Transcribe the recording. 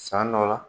San dɔ la